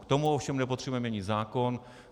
K tomu ovšem nepotřebujeme měnit zákon.